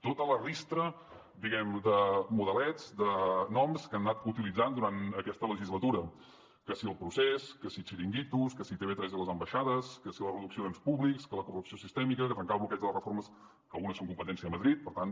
tota la ristra de modelets de noms que han anat utilitzant durant aquesta legislatura que si el procés que si xiringuitos que si tv3 i les ambaixades que si la reducció d’ens públics que la corrupció sistèmica que trencar el bloqueig de les reformes que algunes són competència a madrid per tant